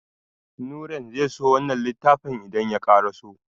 Nurain zai so wannan littafin idan ya karaso.